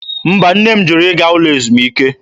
Mba, nne m jụrụ ịga n'ụlọ ezumike.